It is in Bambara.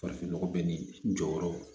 Farafin nɔgɔ bɛ ni n jɔyɔrɔ